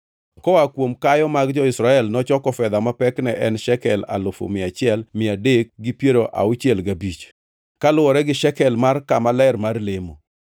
Koa kuom kayo mag jo-Israel nochoko fedha ma pekne en shekel alufu mia achiel mia adek gi piero auchiel gabich (1,365), kaluwore gi shekel mar kama ler mar lemo.